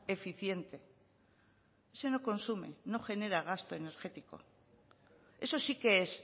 eficiente ese que no consume no genera gasto energético eso sí que es